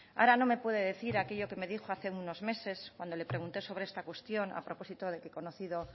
ahora no me puede decir aquello que me dijo hace unos meses cuando le pregunté sobre esta cuestión a propósito de que conocido